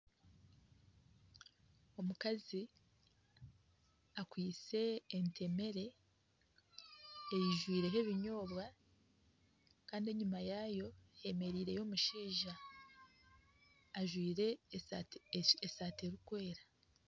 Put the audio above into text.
Omukazi akwaitse entemere eijwireho ebinyobwa kandi enyuma yaayo hemereireyo omushaija ajwaire esaati erikwera.